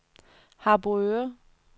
Harboøre